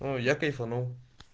ну я кайфанул